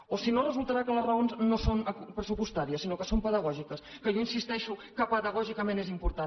o si no resultarà que les raons no són pressupostàries sinó que són pedagògiques que jo insisteixo que pedagògicament és important